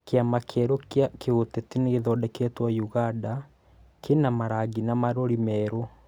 Kĩama kĩerũ gĩa kĩũteti nĩgĩthondeketwo ũganda kĩna marangi na marũri merũ